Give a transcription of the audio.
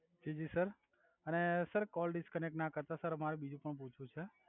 જિ જિ સર અને sir call disconnect ના કર તા સર અમારે બીજુ પણ પૂછવું છે